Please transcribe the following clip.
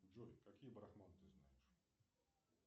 джой какие брахманы ты знаешь